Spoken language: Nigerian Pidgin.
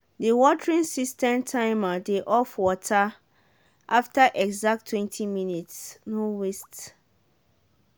the watering system timer dey off water after exacttwentyminutes no waste.